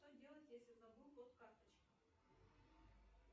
что делать если забыл код карточки